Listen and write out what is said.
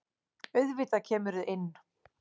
Auðvitað kemurðu inn!